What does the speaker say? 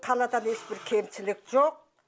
қаладан ешбір кемшілік жоқ